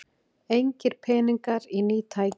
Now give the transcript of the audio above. Engir peningar í ný tæki